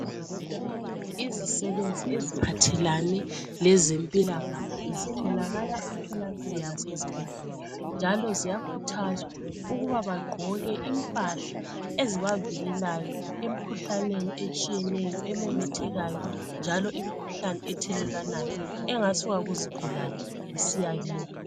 Izisebenzi eziphathelane lezempilakahle zitholakala emtholampilo lasezibhedlela njalo ziyakhuthazwa ukuba bagqoke impahla ezibavikelayo emkhuhlaneni etshiyeneyo ememethekayo njalo imikhuhlane ethelelwanayo engasuka kuzigulane isiyakibo.